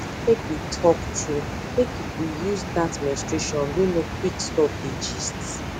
make we talk truemake people use that menstruation wey no quick stop dey gist